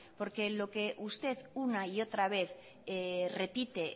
lo que usted una y otra vez repite